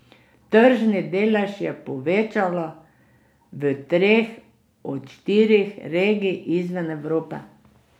Tržni delež je povečala v treh od štirih regij izven Evrope.